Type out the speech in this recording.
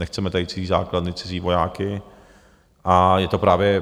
Nechceme tady cizí základny, cizí vojáky a je to právě...